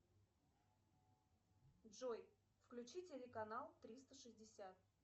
джой включи телеканал триста шестьдесят